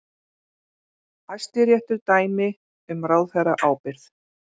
Hæstiréttur dæmi um ráðherraábyrgð